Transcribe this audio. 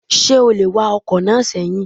Ṣé o lè wa ọkọ̀ náà sẹ́yìn?